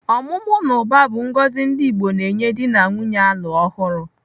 Ọmụmụ na ụba bụ ngọzi ndị Igbo na-enye dị na nwaanyị a lụr ọhụrụ.